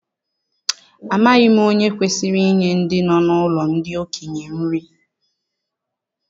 Amaghị m onye kwesịrị inye ndị nọ n'ụlọ ndị okenye nri